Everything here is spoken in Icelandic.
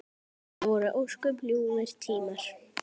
Það voru ósköp ljúfir tímar.